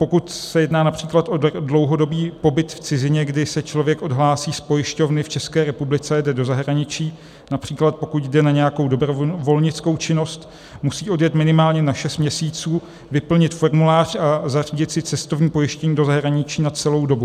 Pokud se jedná například o dlouhodobý pobyt v cizině, kdy se člověk odhlásí z pojišťovny v České republice, jde do zahraničí, například pokud jde na nějakou dobrovolnickou činnost, musí odjet minimálně na šest měsíců, vyplnit formulář a zařídit si cestovní pojištění do zahraničí na celou dobu.